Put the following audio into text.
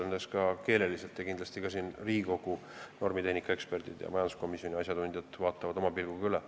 Õnneks ka keeleliselt kindlasti Riigikogu normitehnika eksperdid ja majanduskomisjoni asjatundjad vaatavad oma pilguga selle üle.